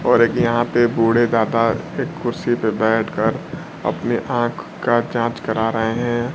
और एक यहां पे बूढ़े दादा एक कुर्सी पर बैठ कर अपनी आंख का जांच करा रहे हैं।